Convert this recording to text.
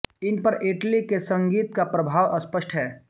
इन पर इटली के संगीत का प्रभाव स्पष्ट है